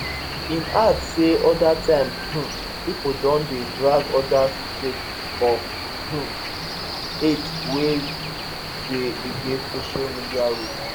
im add say oda times um pipo don dey drag odas sake of um hate wey dey against social media rules